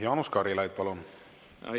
Jaanus Karilaid, palun!